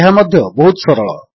ଏହା ମଧ୍ୟ ବହୁତ ସରଳ